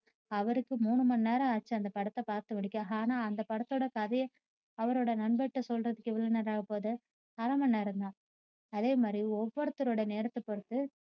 அவருக்கு மூணுமணி நேரம் ஆச்சு அந்த படத்த பார்த்து முடிக்க. ஆனா அந்த படத்தோட கதைய அவரோட நண்பர்கிட்ட சொல்றதுக்கு எவ்வளவு நேரம் ஆக போகுது அரை மணி நேரம் தான் அதேமாதிரி ஒவ்வொருத்தருடைய நேரத்தை பொறுத்து